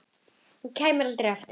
Og kæmi aldrei aftur.